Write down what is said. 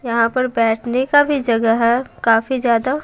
यहां पर बैठने का भी जगह है काफी ज्यादा--